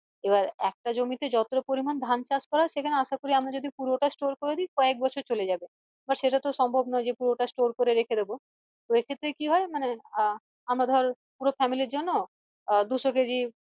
এবার একটা জমিতে যতটা পরিমান ধান চাষ করা হয় সেখানে আশা করি আমরা যদি পুরোটা store করে দি কয়েক বছর চলে যাবে বা সেটাতো পুরোটা সম্ভম নোই যে পুরোটা store করে রেখে দিবো তো এক্ষেত্রে কি হয় মানে আহ আমরা ধর পুরো family র জন্য আহ দুশো কেজি